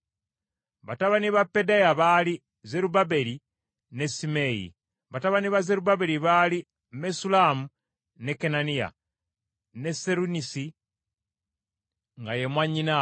Batabani ba Pedaya baali Zerubbaberi ne Simeeyi. Batabani ba Zerubbaberi baali Mesullamu ne Kananiya, ne Seronisi nga ye mwannyinaabwe.